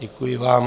Děkuji vám.